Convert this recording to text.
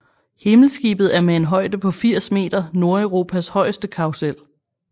Himmelskibet er med en højde på 80 meter Nordeuropas højeste karrusel